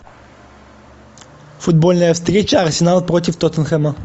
футбольная встреча арсенал против тоттенхэма